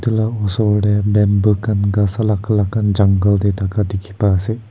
etu la osor tey bamboo khan ghas alak alak khan jungle te thaka dikhi pa ase.